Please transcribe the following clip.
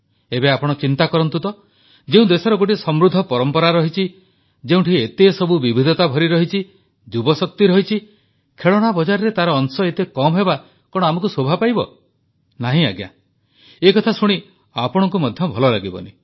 ଏବେ ଆପଣ ଚିନ୍ତା କରନ୍ତୁ ତ ଯେଉଁ ଦେଶର ଗୋଟିଏ ସମୃଦ୍ଧ ପରମ୍ପରା ରହିଛି ଯେଉଁଠି ଏତେ ସବୁ ବିବିଧତା ଭରି ରହିଛି ଯୁବଶକ୍ତି ରହିଛି ଖେଳଣା ବଜାରରେ ତାର ଅଂଶ ଏତେ କମ ହେବା କଣ ଆମକୁ ଶୋଭା ପାଇବ ନାହିଁ ଆଜ୍ଞା ଏକଥା ଶୁଣି ଆପଣଙ୍କୁ ମଧ୍ୟ ଭଲ ଲାଗିବନି